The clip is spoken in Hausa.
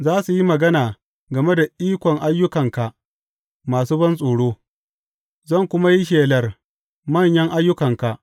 Za su yi magana game da ikon ayyukanka masu bantsoro, zan kuma yi shelar manyan ayyukanka.